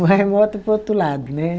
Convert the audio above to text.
Um remoto para o outro lado, né?